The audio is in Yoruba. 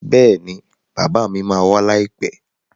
Bẹ́ẹ̀ni bàbá mi ma wá láìpẹ́